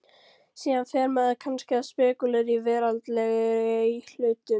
Síðan fer maður kannski að spekúlera í veraldlegri hlutum.